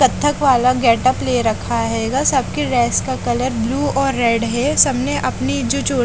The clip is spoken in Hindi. कत्थक वाला गेटअप ले रखा है गा सब के ड्रेस का कलर ब्लू और रेड है सब ने अपनी जो जो--